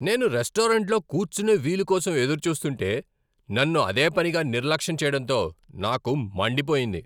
నేను రెస్టారెంట్లో కూర్చునే వీలు కోసం ఎదురుచూస్తుంటే, నన్ను అదేపనిగా నిర్లక్ష్యం చేయటంతో నాకు మండిపోయింది.